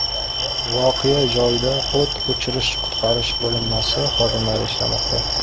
Voqea joyida o‘t o‘chirish-qutqarish bo‘linmasi xodimlari ishlamoqda.